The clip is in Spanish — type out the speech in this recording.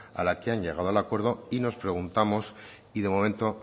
a la que han llegado al acuerdo y nos preguntamos y de momento